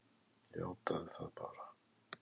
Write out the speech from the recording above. Játaðu það bara!